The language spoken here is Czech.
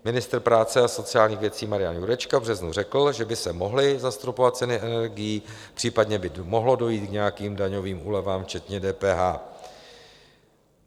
Ministr práce a sociálních věcí Marian Jurečka v březnu řekl, že by se mohly zastropovat ceny energií, případně by mohlo dojít k nějakým daňovým úlevám včetně DPH.